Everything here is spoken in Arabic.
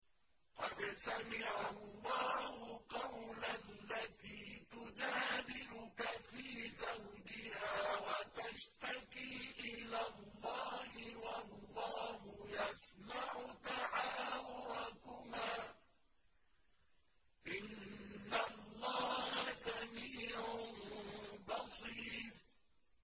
قَدْ سَمِعَ اللَّهُ قَوْلَ الَّتِي تُجَادِلُكَ فِي زَوْجِهَا وَتَشْتَكِي إِلَى اللَّهِ وَاللَّهُ يَسْمَعُ تَحَاوُرَكُمَا ۚ إِنَّ اللَّهَ سَمِيعٌ بَصِيرٌ